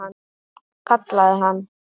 Kallaði hann.